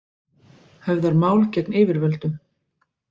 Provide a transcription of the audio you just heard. Höfðar mál gegn yfirvöldum